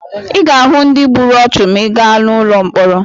Ị ga-ahụ ndị gburu ọchụ ma ị gaa n'ụlọ mkpọrọ.